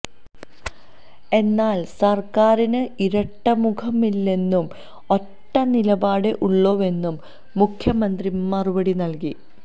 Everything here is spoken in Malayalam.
എന്നാൽ സർക്കാരിന് ഇരട്ടമുഖമില്ലെന്നും ഒറ്റ നിലപാടേ ഉള്ളൂവെന്നും മുഖ്യമന്ത്രി മറുപടി നൽകി